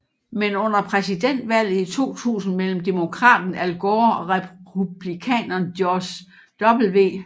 Men under præsidentvalget i 2000 mellem demokraten Al Gore og republikaneren George W